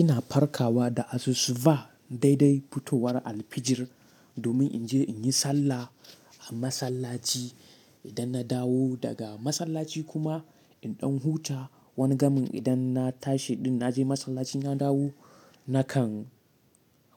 Ina farkawa da asusuba daidai fitowar alfijir domin in je in yi sallah a masallaci. Idan na dawo daga masallaci kuma in ɗan huta, wani gamin idan na tashi ɗin na je masallaci na dawo, na kan.